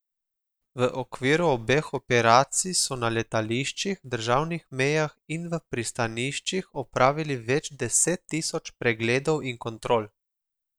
V okviru obeh operacij so na letališčih, državnih mejah in v pristaniščih opravili več deset tisoč pregledov in kontrol.